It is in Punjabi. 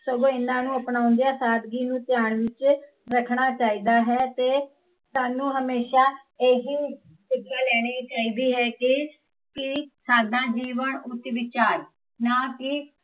ਸਗੋਂ ਇਹਨਾਂ ਨੂੰ ਅਪਣਾਉਂਦਿਆ ਸਾਦਗੀ ਨੂੰ ਧਿਆਨ ਵਿੱਚ ਰੱਖਣਾ ਚਾਹੀਦਾ ਹੈ ਤੇ ਸਾਨੂੰ ਹਮੇਸ਼ਾ ਏਹੀ, ਸਿੱਖਿਆ ਲੈਣੀ ਚਾਹੀਦੀ ਹੈ ਕੀ ਕੀ ਸਾਦਾ ਜੀਵਨ ਉੱਚ ਵਿਚਾਰ ਨਾ ਕਿ